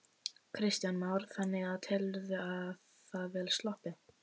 Kristján Már: Þannig að telurðu það vel sloppið?